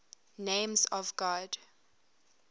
names of god